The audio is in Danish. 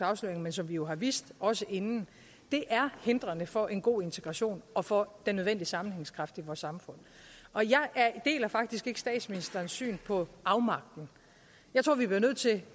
afsløringer men som vi jo har vidst også inden er hindrende for en god integration og for den nødvendige sammenhængskraft i vores samfund jeg deler faktisk ikke statsministerens syn på afmagten jeg tror vi bliver nødt til